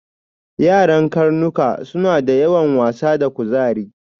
Yaran karnuka suna da yawan wasa da kuzari.